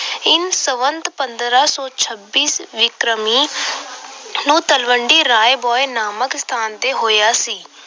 ਸੰਮਤ ਪੰਦਰਾਂ ਸੌ ਛੱਬੀ ਵਿਕਰਮੀ ਨੂੰ ਤਲਵੰਡੀ ਰਾਇ ਭੋਇ ਨਾਮਕ ਸਥਾਨ ਤੇ ਹੋਇਆ ਸੀ।